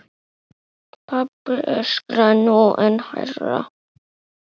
Pabbi öskraði nú enn hærra.